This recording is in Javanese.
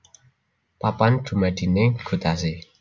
Papan dumadiné gutasi